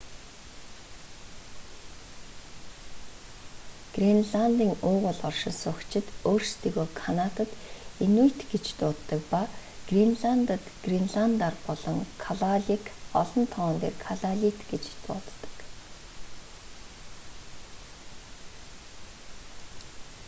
гренландын уугуул оршин суугчид өөрсдийгөө канадад инуйт гэж дууддаг ба гренландад гренландаар бол калааллек олон тоон дээр калааллит гэж дууддаг